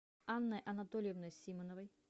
анной анатольевной симоновой